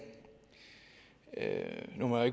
nu må jeg